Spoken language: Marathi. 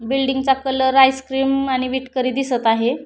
बिल्डिंग चा कलर आइस क्रीमअ आणि विटकरी दिसत आहे.